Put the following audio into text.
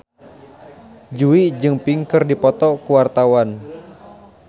Jui jeung Pink keur dipoto ku wartawan